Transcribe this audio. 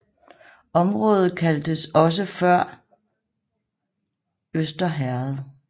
Området kaldtes også for Før Øster Herred